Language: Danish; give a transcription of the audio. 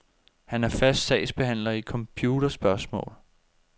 Han er fast sagsbehandler i computerspørgsmål.